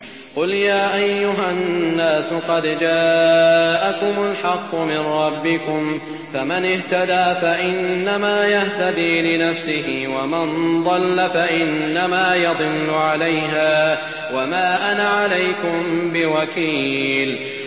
قُلْ يَا أَيُّهَا النَّاسُ قَدْ جَاءَكُمُ الْحَقُّ مِن رَّبِّكُمْ ۖ فَمَنِ اهْتَدَىٰ فَإِنَّمَا يَهْتَدِي لِنَفْسِهِ ۖ وَمَن ضَلَّ فَإِنَّمَا يَضِلُّ عَلَيْهَا ۖ وَمَا أَنَا عَلَيْكُم بِوَكِيلٍ